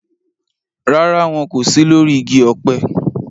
Rárá, wọn kò sí lórí igi ọ̀pẹ